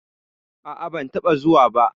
A'a, ban taɓa zuwa ba.